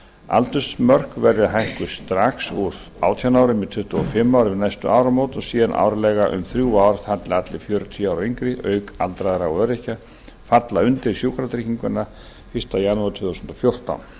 aldursmörkin verði hækkuð strax úr átján árum í tuttugu og fimm ár við næstu áramót og síðan árlega um þrjú ár þar til allir fjörutíu ára og yngri auk aldraðra og öryrkja falla undir sjúkratrygginguna fyrsta janúar tvö þúsund og fjórtán